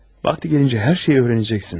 Vakti gelince her şeyi öğreneceksin.